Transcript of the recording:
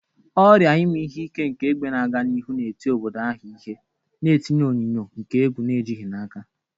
Ọrịa ime ihe ike nke egbe na-aga n'ihu na-eti obodo ahụ ihe, na-etinye onyinyo nke egwu na ejighị n'aka.